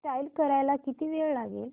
install करायला किती वेळ लागेल